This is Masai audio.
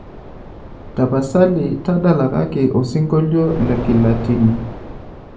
tapasali tadalakaki osingolio le kilatini